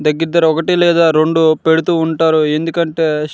దగ్గర దగ్గర ఒకటీ లేక రెండు పెడుతుంటారు. ఎందుకంటే--